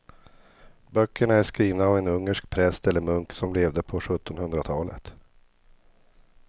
Böckerna är skrivna av en ungersk präst eller munk som levde på sjuttonhundratalet.